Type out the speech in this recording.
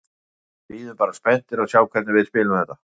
Við bíðum bara spenntir að sjá hvernig við spilum þetta.